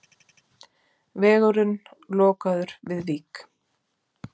Vegurinn lokaður við Vík